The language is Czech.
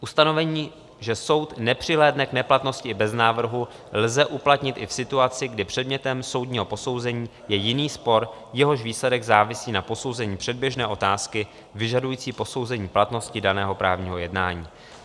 Ustanovení, že soud nepřihlédne k neplatnosti i bez návrhu, lze uplatnit i v situaci, kdy předmětem soudního posouzení je jiný spor, jehož výsledek závisí na posouzení předběžné otázky vyžadující posouzení platnosti daného právního jednání.